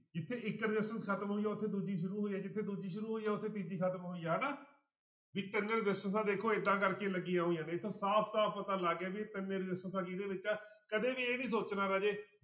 ਜਿੱਥੇ ਇੱਕ resistance ਖ਼ਤਮ ਹੋਈ ਆ ਉੱਥੇ ਦੂਜੀ ਸ਼ੁਰੂ ਹੋਈ ਆ ਜਿੱਥੇ ਦੂਜੀ ਸ਼ੁਰੂ ਹੋਈ ਆ ਉੱਥੇ ਤੀਜੀ ਖ਼ਤਮ ਹੋਈ ਆ ਹਨਾ, ਵੀ ਤਿੰਨ ਰਸਿਸਟੈਂਸਾਂ ਦੇਖੋ ਏਦਾਂ ਕਰਕੇ ਲੱਗੀਆਂ ਹੋਈਆਂ ਨੇ ਤਾਂਂ ਸਾਫ਼ ਸਾਫ਼ ਪਤਾ ਲੱਗ ਗਿਆ ਵੀ ਇਹ ਤਿੰਨੇ ਰਸਿਸਟੈਂਸਾਂ ਕਿਹਦੇ ਵਿੱਚ ਆ, ਕਦੇ ਵੀ ਇਹ ਨੀ ਸੋਚਣਾ ਰਾਜੇ